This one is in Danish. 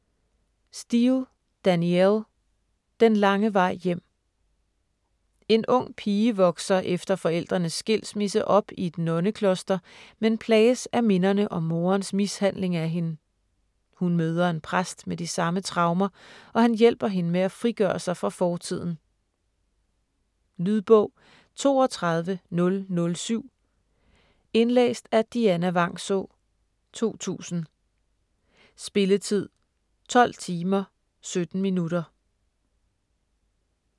Steel, Danielle: Den lange vej hjem En ung pige vokser efter forældrenes skilsmisse op i et nonnekloster, men plages af minderne om moderens mishandling af hende. Hun møder en præst med de samme traumer, og han hjælper hende med at frigøre sig fra fortiden. Lydbog 32007 Indlæst af Dianna Vangsaa, 2000. Spilletid: 12 timer, 17 minutter.